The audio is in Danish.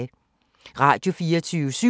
Radio24syv